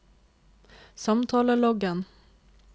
samtaleloggen